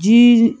Jii